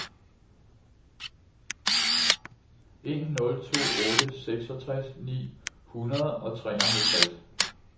en nul to otte seksogtres ni hundrede og treoghalvtreds